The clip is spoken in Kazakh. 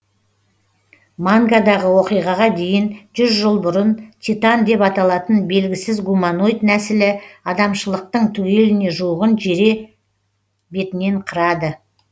мангадағы оқиғаға дейін жүз жыл бұрын титан деп аталатын белгісіз гуманоид нәсілі адамшылықтың түгеліне жуығын жере бетінен қырады